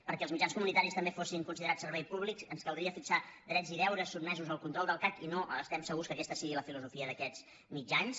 perquè els mitjans comunitaris també fossin considerats serveis públics ens caldria fixar drets i deures sotmesos al control del cac i no estem segurs que aquesta sigui la filosofia d’aquests mitjans